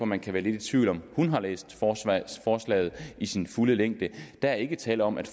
man kan være lidt i tvivl om hun har læst forslaget i sin fulde længde der er ikke tale om at